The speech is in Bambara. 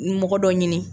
Mɔgɔ dɔ ɲini